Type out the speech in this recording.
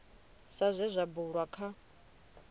sa zwe zwa bulwa kha